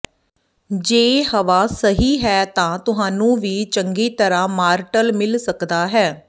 ਜੇ ਹਵਾ ਸਹੀ ਹੈ ਤਾਂ ਤੁਹਾਨੂੰ ਵੀ ਚੰਗੀ ਤਰ੍ਹਾਂ ਮਾਰਟਲ ਮਿਲ ਸਕਦਾ ਹੈ